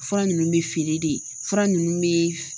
Fura ninnu bɛ feere de fura ninnu bɛ